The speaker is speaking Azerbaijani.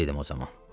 Bağdaydım o zaman.